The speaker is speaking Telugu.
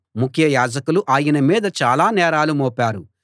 ముఖ్య యాజకులు ఆయన మీద చాలా నేరాలు మోపారు